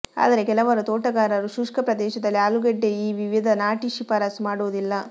ಆದರೆ ಕೆಲವು ತೋಟಗಾರರು ಶುಷ್ಕ ಪ್ರದೇಶದಲ್ಲಿ ಆಲೂಗೆಡ್ಡೆ ಈ ವಿವಿಧ ನಾಟಿ ಶಿಫಾರಸು ಮಾಡುವುದಿಲ್ಲ